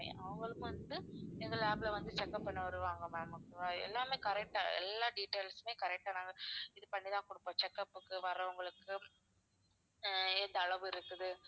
அவங்களுக்கு வந்து எங்க lab ல வந்து check up பண்ண வருவாங்க ma'am okay வா எல்லாமே correct ஆ எல்லா details மே correct ஆ நாங்க இது பண்ணி தான் கொடுப்போம் check up க்கு வர்றவங்களுக்கு ஹம் எந்த அளவு இருக்குது